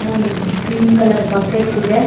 ಹಾಗೆ ಒಂದು green colour bucket ಇದೆ.